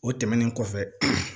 O tɛmɛnen kɔfɛ